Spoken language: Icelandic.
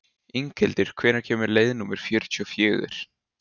Inghildur, hvenær kemur leið númer fjörutíu og fjögur?